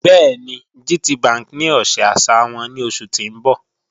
Bẹẹni, GTBank ní ọ̀ṣẹ àṣà wọn ni oṣù tí n bọ́